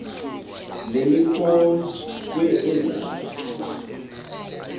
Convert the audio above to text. nemikhonto kw ezayo